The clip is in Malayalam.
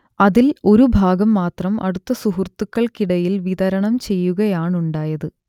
അതിൽ ഒരുഭാഗം മാത്രം അടുത്ത സുഹൃത്തുക്കൾക്കിടയിൽ വിതരണം ചെയ്യുകയാണുണ്ടായത്